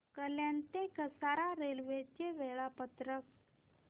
कल्याण ते कसारा रेल्वे चे वेळापत्रक